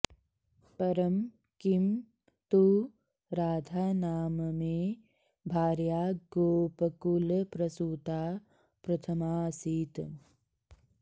परं किं तु राधा नाम मे भार्या गोपकुलप्रसूता प्रथमाऽसीत्